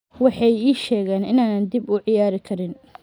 “Waxay ii sheegeen in aanan dib u ciyaari karin.